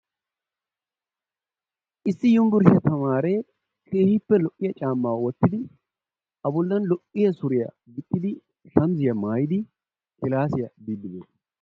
Issi yunbburshshiya tamaare issi lo''iyaa caamma wottidi a bollan lo''iya suriyaa gixxidi shamissiya maayyidi kilassiyaa biide de'ees.